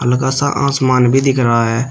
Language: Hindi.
सा आसमान भी दिख रहा है।